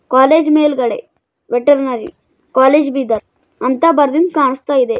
College ಮೇಲ್ಗಡೆ veterinary college Bidar ಅಂತ ಬರ್ದಿದ್ ಕಾಣುಸ್ತಾಯಿದೆ.